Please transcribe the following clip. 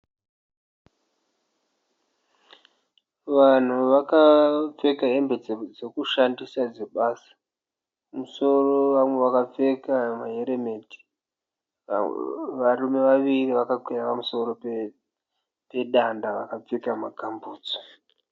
Vanhu vakapfeka hembe dzekushandisa dzebasa. Mumusoro vamwe vakapfeka ma helmet. Varume vaviri vakakwira pamusoro pedanda vakapfeka ma gamu bhutsu.